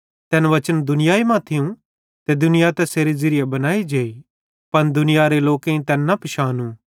तैन वचन दुनियाई मां ओरू थियूं त दुनिया तैसेरे ज़िरिये बनाई जेई पन दुनियारे लोकेईं तैन न पिशानू कि तै कौन आए